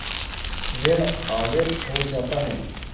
ॠण आवेश हो जाता है